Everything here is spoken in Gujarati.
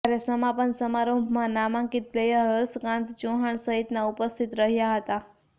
જ્યારે સમાપન સમારોહમાં નામાંકિત પ્લેયર હર્ષકાંત ચૌહાણ સહિતના ઉપસ્થિત રહ્યા હતા